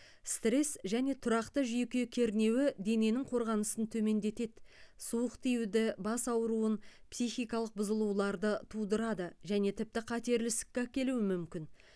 стресс және тұрақты жүйке кернеуі дененің қорғанысын төмендетеді суық тиюді бас ауруын психикалық бұзылуларды тудырады және тіпті қатерлі ісікке әкелуі мүмкін